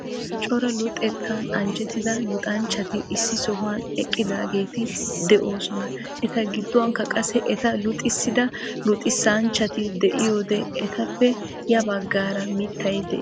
Cora luxettaan anjjettida luxxanchchati issi sohuwaan eqqidaageti de'oosona. eta giduwaanikka qassi eta luxxisida luxxisanchchati de'iyoode etappe ya baggaara miitay de'ees.